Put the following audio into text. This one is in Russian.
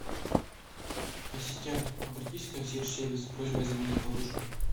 ассистент обратись в консьерж сервис с просьбой заменить подушку